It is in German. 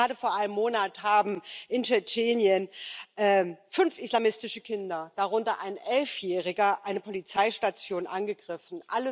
Gerade vor einem Monat haben in Tschetschenien fünf islamistische Kinder, darunter ein Elfjähriger, eine Polizeistation angegriffen.